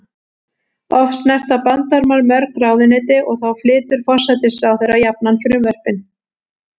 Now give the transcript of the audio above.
Oft snerta bandormar mörg ráðuneyti og þá flytur forsætisráðherra jafnan frumvörpin.